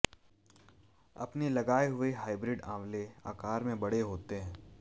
अपने लगाए हुए हाईव्रिड आंवले आकार में बड़े होते हैं